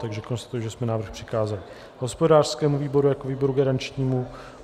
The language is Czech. Takže konstatuji, že jsme návrh přikázali hospodářskému výboru jako výboru garančnímu.